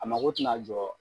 A mako tina jɔ